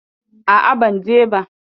A'a, ban je ba.